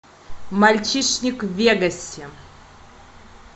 мальчишник в вегасе